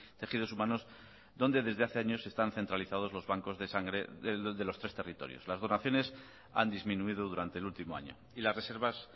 tejidos humanos donde desde hace años están centralizados los bancos de sangre de los tres territorios las donaciones han disminuido durante el último año y las reservas